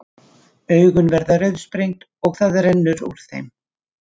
Augun verða rauðsprengd og það rennur úr þeim.